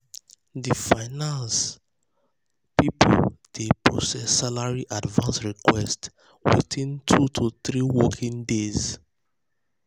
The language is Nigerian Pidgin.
di finance di finance people dey process salary advance request within 2 to 3 working days.